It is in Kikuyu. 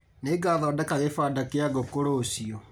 Nĩngathondeka gĩbanda kĩa ngũkũ rũciũ